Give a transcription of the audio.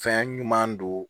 Fɛn ɲuman don